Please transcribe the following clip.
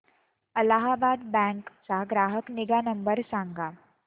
Allahabad bank चा ग्राहक निगा नंबर सांगा